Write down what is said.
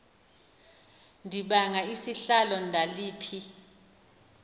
ndibanga isihlalo ndandiphi